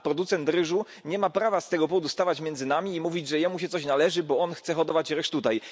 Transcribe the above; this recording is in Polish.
A producent ryżu nie ma prawa z tego powodu stawać między nami i mówić, że jemu się coś należy, bo on chce hodować ryż tutaj.